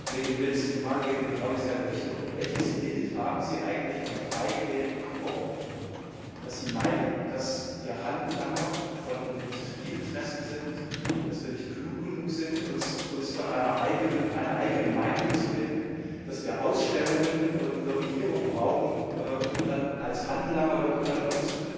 Herr Präsident, Frau Kollegin Wils! Meine Frage geht in genau dieselbe Richtung Welches Bild haben Sie eigentlich von frei gewählten Abgeordneten, dass Sie meinen, dass wir Handlanger von Industrieinteressen sind, dass wir nicht klug genug sind, uns eine eigene Meinung zu bilden, dass wir Ausstellungen und Lobbyierung brauchen, um dann als Handlanger irgendeiner Lobby